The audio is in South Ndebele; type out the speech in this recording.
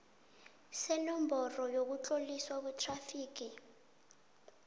senomboro yokutloliswa kwethrafigi